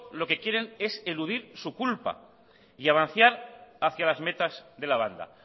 lo que quieren es eludir su culpa y avanzar hacia las metas de la banda